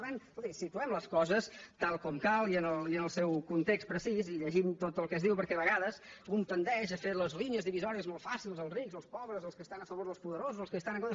per tant escolti situem les coses tal com cal i en el seu context precís i llegint tot el que es diu perquè a vegades un tendeix a fer les línies divisòries molt fàcils els rics els pobres els que estan a favor dels poderosos els que hi estan en contra